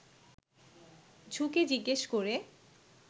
ঝুঁকে জিজ্ঞেস করে